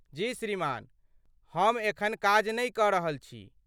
जी, श्रीमान हम एखन काज नै कऽ रहल छी।